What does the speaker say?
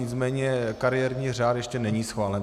Nicméně kariérní řád ještě není schválen.